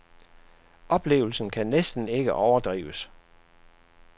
Oplevelsen kan næsten ikke overdrives.